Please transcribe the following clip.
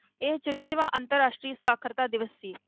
ਇਹ ਚੁਰੰਜਵਾਂ ਅੰਤਰ ਰਾਸ਼ਟਰੀ ਸਾਖ਼ਰਤਾ ਦਿਵਸ ਸੀ।